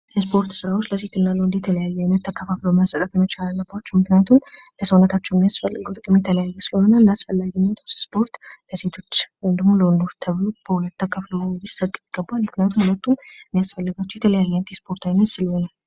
የእስፖርት ስራወች ለሴትና ለወንድ የተለያየ አይነት ተከፋፍሎ መሰጠት መቻል አለባቸው ምክንያቱም ለሰውነታቸው የሚያስፈልገው ጥቅም የተለያየ ስለሆነ እንዳስፈላጊነቱ ስፖርት ለሴሰቶች ወይም ደግሞ ለወንዶች ተብሎ በሁለት ተከፍሎ ሊሰጥ ይገባዋል ምክንያቱም ሁለቱም የሚያስፈልጋቸው የተለያየ አይነት የስፖርት አይነት ስለሆነ።